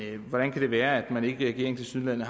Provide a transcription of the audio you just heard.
hvordan kan det være at man i regeringen tilsyneladende